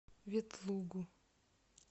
ветлугу